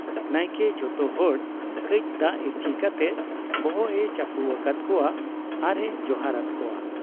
ᱱᱟᱭᱠᱮ ᱡᱚᱛᱚ ᱦᱚᱲ ᱠᱟᱹᱡ ᱫᱟᱜ ᱤᱨᱪᱤ ᱠᱟᱛᱮ ᱵᱚᱦᱚᱜ ᱮ ᱪᱟᱹᱯᱩ ᱟᱠᱟᱫ ᱠᱚᱣᱟ ᱟᱨ ᱮ ᱡᱚᱦᱟᱨ ᱟᱫ ᱠᱚᱣᱟ ᱾